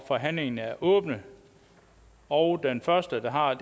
forhandlingen er åbnet og den første der har